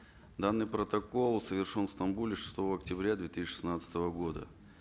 данный протокол совершен в стамбуле шестого октября две тысячи шестнадцатого года